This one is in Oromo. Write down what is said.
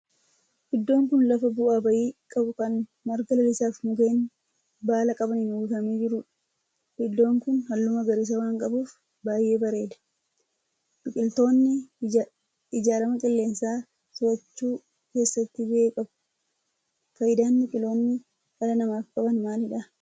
Iddoon kun lafa bu'aa ba'ii qabu kan marga lalisaa fi mukkeen baala qabaniin uwwifamee jirudha. Iddoon kun halluu magariisa waan qabuf baayyee bareeda. Biqiltoonni jijjiirama qilleensaa to'achuu keesatti gahee qabau. faayidaan biqiltoonni dhala namaaf qaban maalidha?